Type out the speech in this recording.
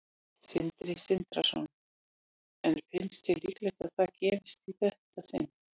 Sindri Sindrason: En finnst þér líklegt að það gerist í þetta sinn?